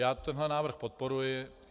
Já tenhle návrh podporuji.